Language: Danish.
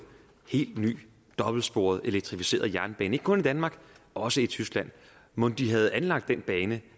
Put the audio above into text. helt ny dobbeltsporet elektrificeret jernbane ikke kun i danmark også i tyskland mon de havde anlagt den bane